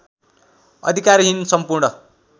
अधिकारहीन सम्पूर्ण